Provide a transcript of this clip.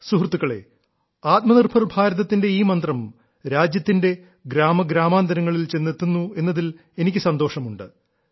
സുഹൃത്തുക്കളേ ആത്മനിർഭർ ഭാരതത്തിന്റെ ഈ മന്ത്രം രാജ്യത്തിന്റെ ഗ്രാമഗ്രാമാന്തരങ്ങളിൽ ചെന്നെത്തുന്നു എന്നതിൽ എനിക്ക് സന്തോഷമുണ്ട്